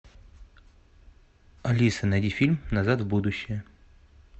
алиса найди фильм назад в будущее